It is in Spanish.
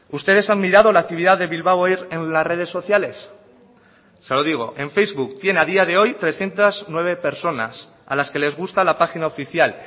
ustedes han mirado la actividad de bilbao air en las redes sociales se lo digo en facebook tiene a día de hoy trescientos nueve personas a las que les gusta la página oficial